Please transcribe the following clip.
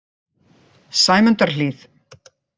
Sæmundarhlíð